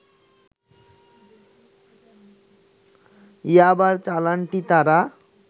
ইয়াবার চালানটি তারা